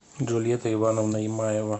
джульетта ивановна имаева